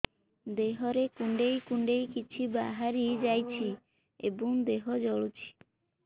ଦେହରେ କୁଣ୍ଡେଇ କୁଣ୍ଡେଇ କିଛି ବାହାରି ଯାଉଛି ଏବଂ ଦେହ ଜଳୁଛି